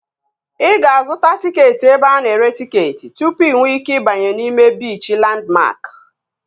Ị ga-azụta tịketị ebe ana ere tịketị tụpụ inwe ike ịbanye n'ime biichi Landmark